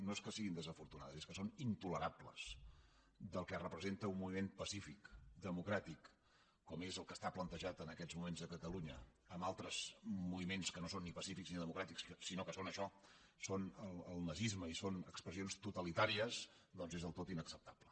no és que siguin desafortunades és que són intolerables del que representa un moviment pacífic democràtic com és el que està plantejat en aquests moments a catalunya amb altres moviments que no són ni pacífics ni democràtics sinó que són això són el nazisme i són expressions totalitàries doncs és del tot inacceptable